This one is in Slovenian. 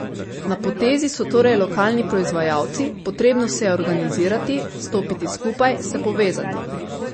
Na potezi so torej lokalni proizvajalci, potrebno se je organizirati, stopiti skupaj, se povezati.